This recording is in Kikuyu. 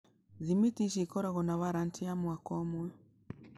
Thimiti ici ikoragwo na warranty ya mwaka ũmwe.